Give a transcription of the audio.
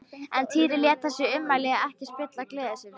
En Týri lét þessi ummæli ekki spilla gleði sinni.